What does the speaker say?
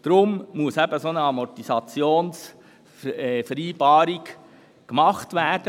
Deshalb muss eine Amortisationsvereinbarung abgeschlossen werden.